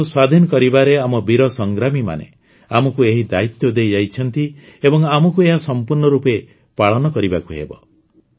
ଦେଶକୁ ସ୍ୱାଧୀନ କରିବାରେ ଆମ ବୀର ସଂଗ୍ରାମୀମାନେ ଆମକୁ ଏହି ଦାୟିତ୍ୱ ଦେଇ ଯାଇଛନ୍ତି ଏବଂ ଆମକୁ ଏହା ସମ୍ପୂର୍ଣ୍ଣ ରୂପେ ପାଳନ କରିବାକୁ ହେବ